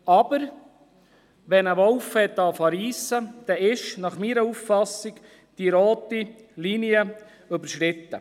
Aber wenn ein Wolf zu reissen beginnt, dann ist meines Erachtens die rote Linie überschreiten.